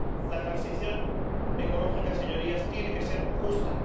La transición ecológica, señorías, tiene que ser justa.